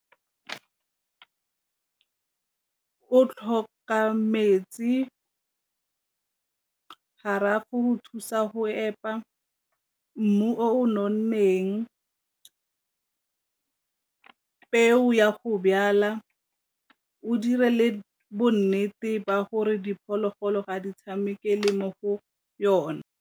O tlhoka metsi, go thusa go epa, mmu o nonneng, peo ya go , o dire le bonnete ba gore diphologolo ga di tshameke le mo go yona.